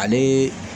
Ale